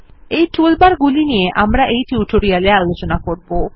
এই টুলবার গুলি নিয়ে আমরা টিউটোরিয়াল এ আলোচনা করবো